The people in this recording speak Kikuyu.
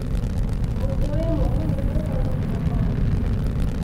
Mũtĩ wĩ mũmũ nĩguo ũthodekaga kamũtĩ.